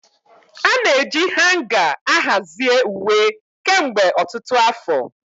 Ana-eji hanga ahazie uwe kemgbe ọtụtụ afọ.